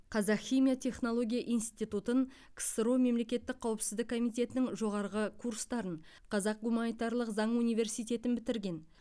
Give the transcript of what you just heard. қазақ химия технология институтын ксро мемлекеттік қауіпсіздік комитетінің жоғарғы курстарын қазақ гуманитарлық заң университетін бітірген